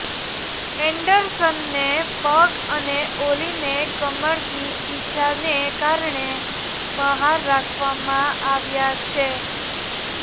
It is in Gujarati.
એન્ડરસનને પગ અને ઓલીને કમરની ઈજાને કારણે બહાર રાખવામાં આવ્યા છે